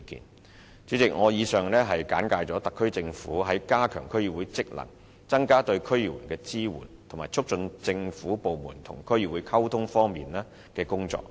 代理主席，我以上簡介了特區政府在加強區議會的職能、增加對區議員的支援，以及促進政府部門與區議會溝通方面的工作。